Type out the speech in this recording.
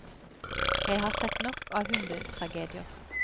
Jeg har sett nok av hundetragedier.